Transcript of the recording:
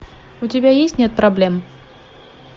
у тебя есть нет проблем